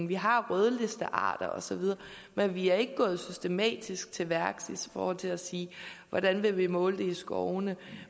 vi har rødlistearter osv men vi er ikke gået systematisk til værks i forhold til at sige hvordan vi vil måle det i skovene